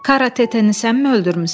Karateteni sənmi öldürmüsən?